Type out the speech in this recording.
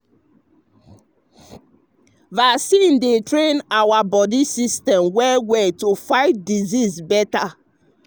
vaccine dey train your body immune system well well to fight disease better.